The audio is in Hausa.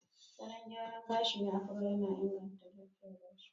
Salon gyara gashi na Afro yana inganta lafiyar gashi.